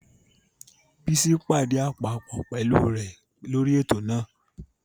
Bísí pàdí àpòpọ̀ pẹ̀lú rẹ̀ lórí ètò náà